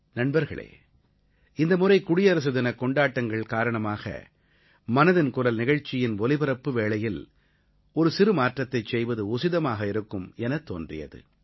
நண்பர்களே இந்தமுறை குடியரசு தினக் கொண்டாட்டங்கள் காரணமாக மனதின் குரல் நிகழ்ச்சியின் ஒலிபரப்பு வேளையில் ஒரு சிறு மாற்றத்தைச் செய்வது உசிதமாக இருக்கும் எனத் தோன்றியது